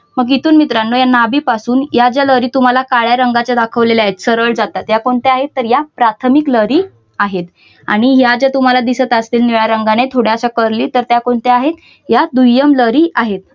मग तिथून मित्रांना या नाभीपासून या ज्या लहरी तुम्हाला काळ्या रंगाच्या दाखवलेल्या आहेत. सरळ जातात त्या कोणत्या आहेत. या प्राथमिक लहरी आहेत आणि या ज्या तुम्हाला दिसत असतील निळ्या रंगाने थोड्या अश्या कर्ली तर त्या कोणत्या आहेत. या दुय्यम लहरी आहेत.